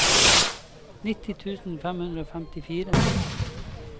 nitti tusen fem hundre og femtifire